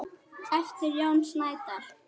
eftir Jón Snædal